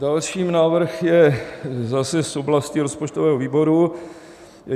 Další návrh je zase z oblasti rozpočtového výboru.